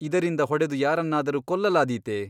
ಇದರಿಂದ ಹೊಡೆದು ಯಾರನ್ನಾದರೂ ಕೊಲ್ಲಲಾದೀತೆ ?